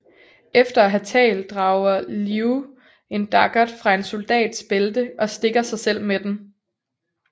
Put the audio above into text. Efter at have talt drager Liù en daggert fra en soldats bælte og stikker sig selv med den